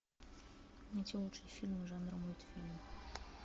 найти лучшие фильмы жанра мультфильм